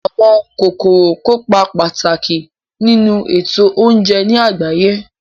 Àwọn kòkòrò kópa pàtàkì nínu ètò oúnje ní àgbáyé